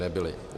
- Nebyly.